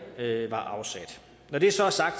var afsat når det så er sagt